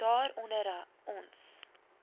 daar onder ons